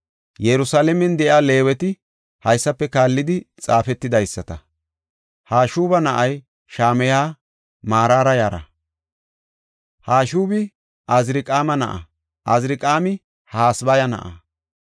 Yerusalaamen de7iya Leeweti haysafe kaallidi xaafetidaysata. Hashuba na7ay Shamayey Maraara yara. Hashubi Aziriqaama na7a; Aziriqaami Hasabaya na7a.